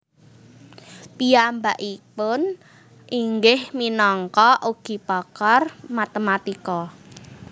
Piyambakipun inggih minangka ugi pakar matematika